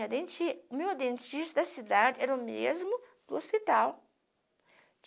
tinha denti. O meu dentista da cidade era o mesmo do hospital.